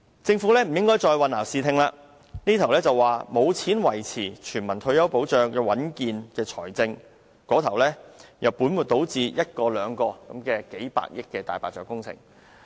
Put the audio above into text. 政府不應再混淆視聽，這邊廂說沒有錢維持全民退休保障的穩健財政，那邊廂卻本末倒置地，推動一個又一個數百億元的"大白象"工程。